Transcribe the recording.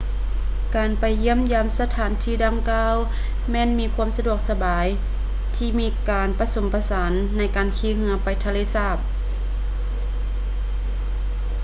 ການໄປຢ້ຽມຢາມສະຖານດັ່ງກ່າວແມ່ນມີຄວາມສະດວກສະບາຍ ທີ່ມີການປະສົມປະສານໃນການຂີ່ເຮືອໄປທະເລສາບ